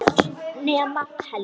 Öll nema Helga.